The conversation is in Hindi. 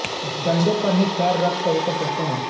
डंडों पर ही पैर रखकर ऊपर चढ़ते हैं